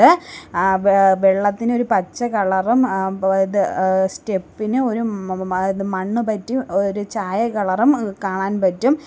ആ വെ വെള്ളത്തിന് ഒരു പച്ച കളറും സ്റ്റെപ്പ് ഇന് ഒരു മ മ മണ്ണ് പറ്റി ഒരു ചായ കളറും മ് കാണാൻ പറ്റും.